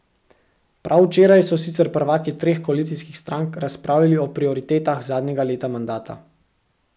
Prav včeraj so sicer prvaki treh koalicijskih strank razpravljali o prioritetah zadnjega leta mandata.